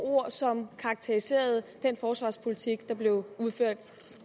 ord som karakteriserede den forsvarspolitik der blev ført